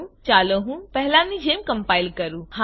ચાલો હું પહેલાની જેમ કમ્પાઈલ કરું હા